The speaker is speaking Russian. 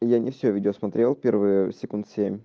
я не все видео смотрел первые секунд семь